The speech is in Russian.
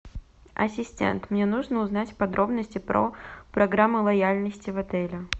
ассистент мне нужно узнать подробности про программу лояльности в этом отеле